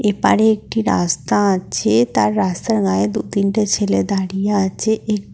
এপারে একটি রাস্তা আছে তার রাস্তার গায়ে দু তিনটি ছেলে দাঁড়িয়ে আছে এ--